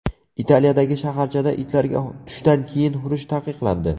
Italiyadagi shaharchada itlarga tushdan keyin hurish taqiqlandi.